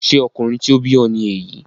Ṣé ọkùnrin tí ó bí ọ ni èyí?